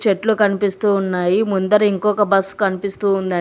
చెట్లు కనిపిస్తూ ఉన్నాయి ముందర ఇంకొక బస్ కనిపిస్తూ ఉన్నది.